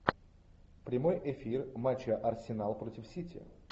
прямой эфир матча арсенал против сити